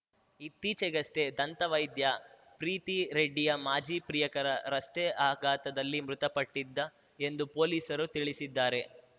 ಇತ್ತೀಚೆಗಷ್ಟೇ ದಂತವೈದ್ಯ ಪ್ರೀತಿ ರೆಡ್ಡಿಯ ಮಾಜಿ ಪ್ರಿಯಕರ ರಸ್ತೆ ಅಘಾತದಲ್ಲಿ ಮೃತಪಟ್ಟಿದ್ದ ಎಂದು ಪೊಲೀಸರು ತಿಳಿಸಿದ್ದಾರೆ